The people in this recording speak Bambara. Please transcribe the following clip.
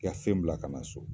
K' i ka fɛn bila ka na so